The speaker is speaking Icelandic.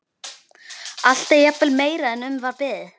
Allt er jafnvel meira en um var beðið.